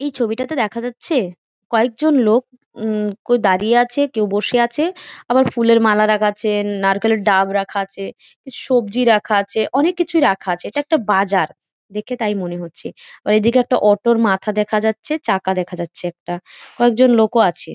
এই ছবিটাতে দেখা যাচ্ছে কয়েকজন লোক উম কেউ দাঁড়িয়ে আছে কেউ বসে আছে আবার ফুলের মালা রাখা আছে-এ নারকেলের ডাব রাখা আছে সবজি রাখা আছে অনেক কিছু রাখা আছে। এটা একটা বাজার দেখে তাই মনে হচ্ছে আবার এদিকে একটা অটো -এর মাথা দেখা যাচ্ছে চাকা দেখা যাচ্ছে একটা কয়েকজন লোকও আছে।